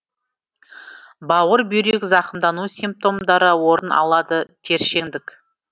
бауыр бүйрек зақымдану симптомдары орын алады тершеңдік